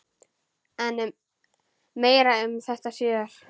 En meira um þetta síðar.